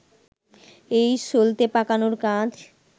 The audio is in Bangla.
এটা সলতে পাকানোর কাজ